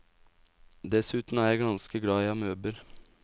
Dessuten er jeg ganske glad i amøber.